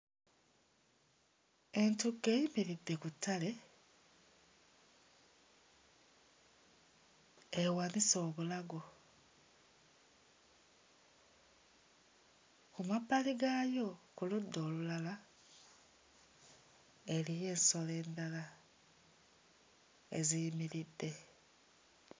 Entuga eyimiridde ku ttale, ewanise obulago ku mabbali gaayo ku ludda olulala eriyo ensolo endala eziyimiridde.